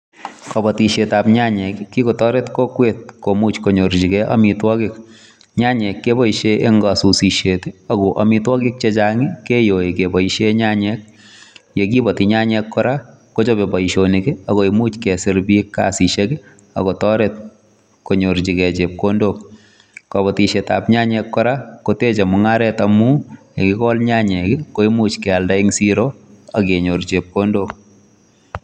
Kobotishietab nyanyek ko kikotoret kokwet komuch kkonyorchigei amitwogiik. Nyanyek keboishien en kosusisiet, ako amitwogik chechang i,keyoi keboishien nyanyek. Ye kibooti nyanyek kora kochobe boishonik ako much kesir biik kasisiek akotoret konyorchigei chepkondok. Kobotishiet ab nyanyek kora koteche mung'aret Amun yekikol nyanyek koimuch keib koba siroo ak kenyoor chepkondook.